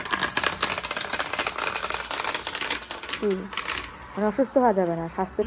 জি মানে অসুস্থ ভাবে মানে স্বাস্থ্যের